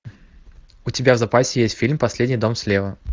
у тебя в запасе есть фильм последний дом слева